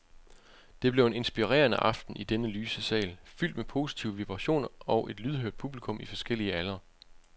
Det blev en inspirerende aften i denne lyse sal, fyldt med positive vibrationer og et lydhørt publikum i forskellige aldre.